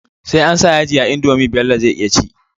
Sai ansa yaji a indomie Bello zai iya ci